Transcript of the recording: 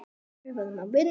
Ég meina, hvernig átti ég.?